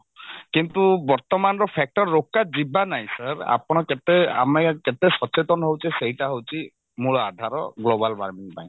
କିନ୍ତୁ ବର୍ତମାନର factor ରୋକା ଯିବା ନାଇଁ sir ଆପଣ କେତେ ଆମେ କେତେ ସଚେତନ ହଉଛେ ସେଇଟା ହଉଛି ମୂଳ ଆଧାର global warming ପାଇଁ